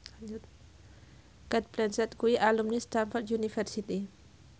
Cate Blanchett kuwi alumni Stamford University